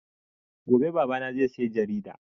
Gobe Baba na zai saya jarida